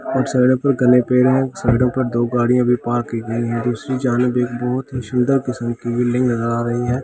कुछ साइडो पे घने पेड़ है साइडो पर दो गाड़िया भी पार्क की गई है दूसरी बहुत ही सुंदर किसम कि ली नज़र आ रही है जो कि --